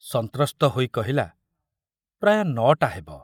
ସନ୍ତ୍ରସ୍ତ ହୋଇ କହିଲା, ପ୍ରାୟ ନ'ଟା ହେବ।